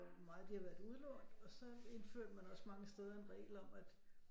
Meget de har været udlånt og så indførte man også mange steder en regel om at